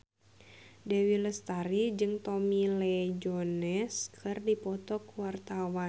Dewi Lestari jeung Tommy Lee Jones keur dipoto ku wartawan